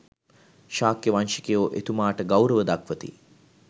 ශාක්‍ය වංශිකයෝ එතුමාට ගෞරව දක්වති.